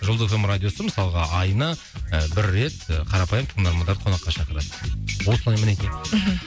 жұлдыз эф эм радиосы мысалға айына ы бір рет ы қарапайым тыңдармандарды қонаққа шақырады осы әңгімені айтайық мхм